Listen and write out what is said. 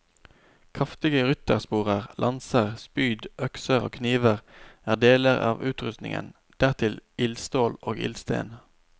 Kraftige ryttersporer, lanser, spyd, økser og kniver er deler av utrustningen, dertil ildstål og ildsten.